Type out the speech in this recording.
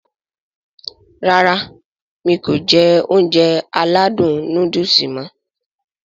Rárá mi kò jẹ Ounjẹ aládùn nóódùsì mọ̀